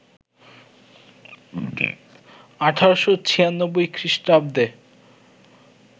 ১৮৯৬ খ্রীস্টাব্দে